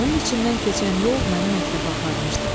Onun içindən keçən yol məni məktəbə aparmışdı.